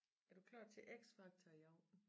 Er du klar til X Factor i aften?